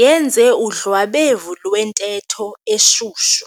yenze udlwabevu lwentetho eshushu.